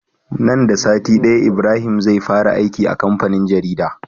Nan da sati daya Ibrahim zai fara aiki a kamfanin jarida